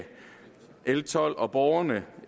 l tolv og borgerne